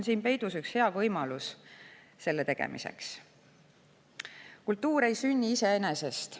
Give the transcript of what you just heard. Kultuur ei sünni iseenesest.